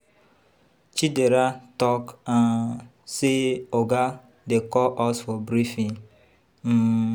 Chidera talk say Oga dey call us for briefing.